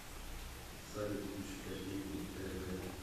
салют включи котейку тэ вэ